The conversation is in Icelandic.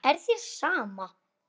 Er þér sama?